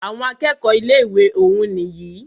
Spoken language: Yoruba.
Àwọn akẹ́kọ̀ọ́ ilé ìwé òún nìyí.